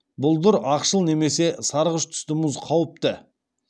бұлдыр ақшыл немесе сарғыш түсті мұз қауіпті